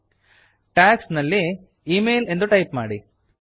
tags tags ನಲ್ಲಿ email email ಎಂದು type ಮಾಡಿ